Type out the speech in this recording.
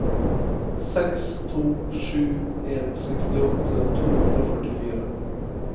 seks to sju en sekstiåtte to hundre og førtifire